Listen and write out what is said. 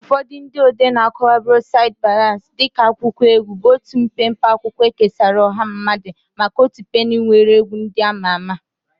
Ụfọdụ ndị odee na-akọwa Broadside Ballads dị ka akwụkwọ egwu, bụ otu mpempe akwụkwọ ekesara ọha mmadụ maka otu penny nwere egwu ndị ama ama.